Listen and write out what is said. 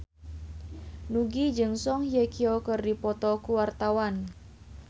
Nugie jeung Song Hye Kyo keur dipoto ku wartawan